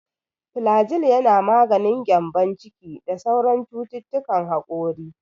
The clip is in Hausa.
Filajil yana maganin gyambon ciki da sauran cututtukan hakori.